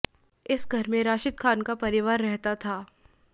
इस घर में राशिद खान का परिवार रहता था